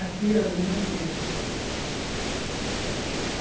Aqui era do mesmo jeito, aham.